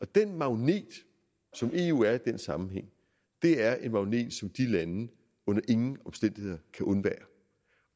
den magnet som eu er i den sammenhæng er en magnet som de lande under ingen omstændigheder kan undvære